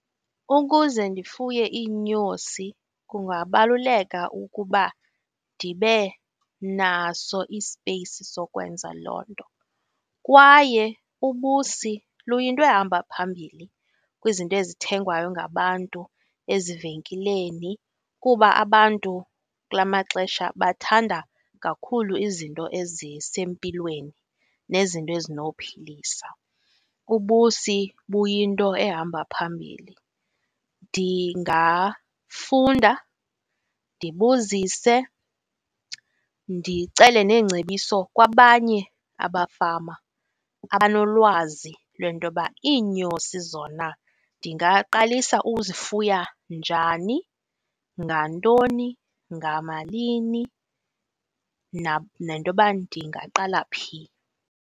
Ukuze ndifuye iinyosi kungabaluleka ukuba ndibe naso ispeyisi sokwenza loo nto. Kwaye ubusi luyinto ehamba phambili kwizinto ezithengwayo ngabantu ezivenkileni kuba abantu kula maxesha bathanda kakhulu izinto ezisempilweni nezinto ezinophilisa, ubusi buyinto ehamba phambili. Ndingafunda, ndibuzise, ndicele neengcebiso kwabanye abafama abanolwazi lwentoba iinyosi zona ndingaqalisa uzifuya njani, ngantoni, ngamalini nentoba ndingaqala phi?